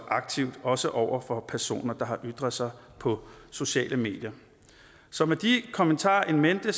aktivt også over for personer der har ytret sig på sociale medier så med de kommentarer in mente